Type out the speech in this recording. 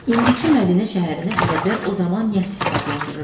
İndiki Mədinə şəhərinə ərəblər o zaman Yəsrib adlandırırdılar.